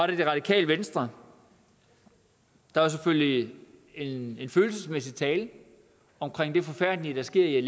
det radikale venstre der var selvfølgelig en følelsesladet tale om det forfærdelige der sker i